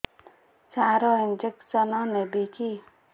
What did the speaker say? ସାର injection ନେବିକି